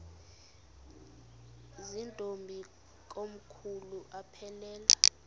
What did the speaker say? zirntombi komkhulu aphelela